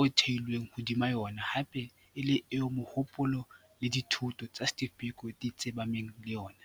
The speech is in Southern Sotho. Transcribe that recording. o theilweng hodima yona hape e le eo mohopolo le dithuto tsa Steve Biko di tsepameng ho yona.